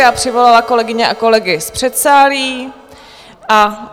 Já přivolala kolegyně a kolegyně z předsálí a...